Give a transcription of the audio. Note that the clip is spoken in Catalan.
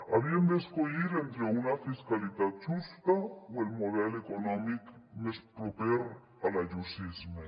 havien d’escollir entre una fiscalitat justa o el model econòmic més proper a l’ayusisme